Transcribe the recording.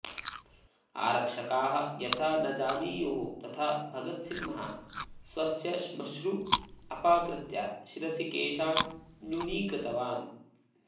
आरक्षकाः यथा न जानीयुः तथा भगतसिंहः स्वस्य श्मश्रु अपाकृत्य शिरसि केशान् न्यूनीकृतवान्